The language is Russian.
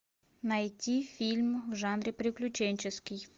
найти фильм в жанре приключенческий